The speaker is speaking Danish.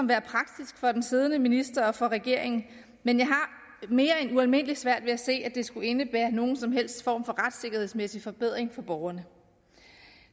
være praktisk for den siddende minister og for regeringen men jeg har det mere end ualmindelig svært ved at se at det skulle indebære nogen som helst form for retssikkerhedsmæssig forbedring for borgerne